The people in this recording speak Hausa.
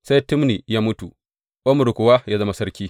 Sai Tibni ya mutu, Omri kuwa ya zama sarki.